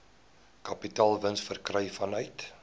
kapitaalwins verkry vanuit